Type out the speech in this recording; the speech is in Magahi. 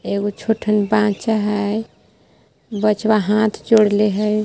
एगो छोटहन बाच्चा हय बच्चवा हाथ जोडले हय।